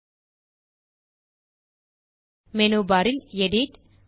இப்போது menu bar இல் edit